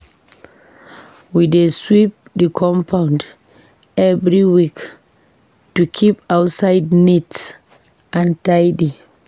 We dey sweep the compound every week to keep outside neat and tidy.